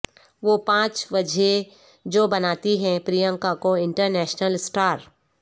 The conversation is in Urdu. وہ پانچ وجہیں جو بناتی ہیں پرینکا کو انٹرنیشنل اسٹار